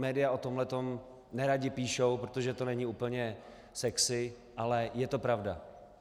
Média o tomhle nerada píšou, protože to není úplně sexy, ale je to pravda.